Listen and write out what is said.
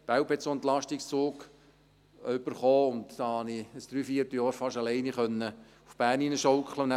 Belp hat einen solchen Entlastungszug erhalten, und damit konnte ich fast während eines Dreivierteljahres allein nach Bern hineinschaukeln.